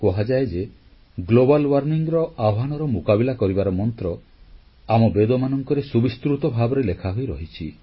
କୁହାଯାଏ ଯେ ବିଶ୍ୱ ଉତ୍ତାପନGlobal Warmingର ଆହ୍ୱାନର ମୁକାବିଲା କରିବାର ମନ୍ତ୍ର ଆମ ବେଦମାନଙ୍କରେ ସୁବିସ୍ତୃତ ଭାବେ ଲେଖାହୋଇ ରହିଛି